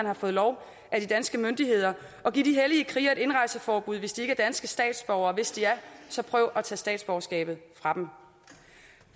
har fået lov af de danske myndigheder og giv de hellige krigere et indrejseforbud hvis de ikke er danske statsborgere og hvis de er så prøv at tage statsborgerskabet fra dem